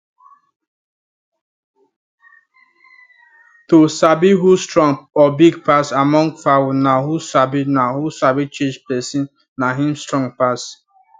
to sabi who strong or big among fowl na who sabi na who sabi chase person na him strong pass